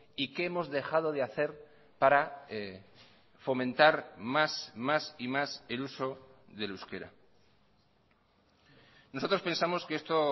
y qué hemos dejado de hacer para fomentar más más y más el uso del euskera nosotros pensamos que esto